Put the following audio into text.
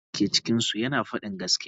Mutumin da ke cikinsu yana faɗin gaskiya.